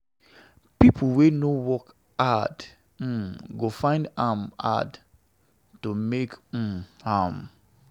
Pipo wey no work hard um go find am hard to make um am.